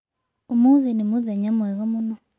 Ũmũthĩ nĩ mũthenya mwega mũno.